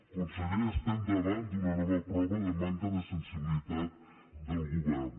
conseller estem davant d’una nova prova de manca de sensibilitat del govern